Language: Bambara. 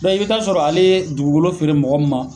u bɛ i b'i t'a sɔrɔ ale ye dugukolo feere mɔgɔ min ma